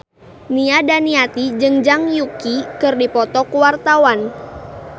Nia Daniati jeung Zhang Yuqi keur dipoto ku wartawan